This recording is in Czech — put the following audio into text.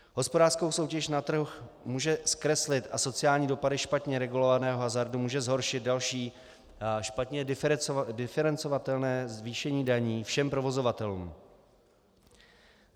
Hospodářskou soutěž na trhu může zkreslit a sociální dopady špatně regulovaného hazardu může zhoršit další špatně diferencovatelné zvýšení daní všem provozovatelům.